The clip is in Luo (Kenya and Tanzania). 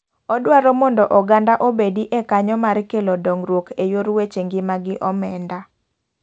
Odwaro mondo oganda obedi e kanyo mar kelo dongruok e yor weche ng'ima gi omenda.